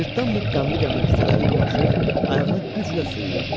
Cırtdan Muk qəmli-qəmli küçələri dolaşır, ayağını güclə sürüyürdü.